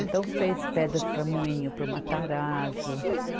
Então, fez pedras para Moinho, para o Matarazzo.